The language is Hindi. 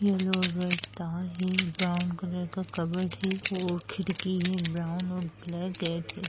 येलो रेड तार है ब्राउन कलर का कपबोर्ड है और खिड़की है ब्राउन और ब्लैक गेट है।